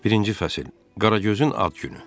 Birinci fəsil, Qaragözün ad günü.